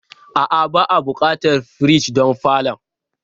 A'a, ba'a buƙatar firij don falon.